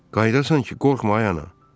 Qayıdasan ki, qorxma ay ana.